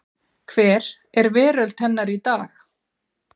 hver er veröld hennar í dag.